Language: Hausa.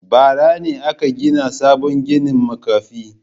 Bara ne aka gina sabon gidan makafi.